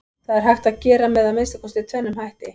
Það er hægt að gera með að minnsta kosti tvennum hætti.